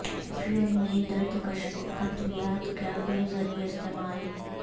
افیون ملی درد کش ادویات کا بے دریغ استعمال